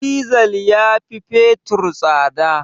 Dizal ya fi fetur tsada